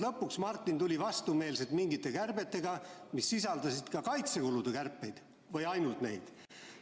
Lõpuks Martin tuli vastumeelselt mingite kärbetega, mis sisaldasid kaitsekulude kärpeid, ainult neid.